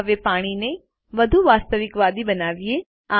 હવે પાણીને વધુ વાસ્તવિકવાદી બનાવીએ